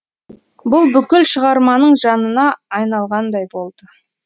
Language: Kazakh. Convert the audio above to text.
бұл бүкіл шығарманың жанына айналғандай болды